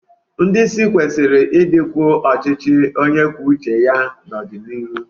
Ndị isi kwesịrị ịdịkwu ọchịchị onye kwuo uche ya n'ọdịnihu.